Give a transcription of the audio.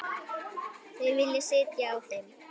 Þau vilja sitja á þeim.